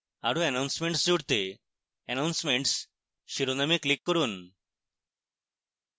আরো announcements জুড়তে announcements শিরোনামে click করুন